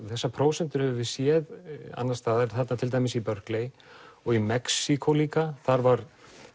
þessar prósentur höfum við séð annars staðar til dæmis í og í Mexíkó líka þar var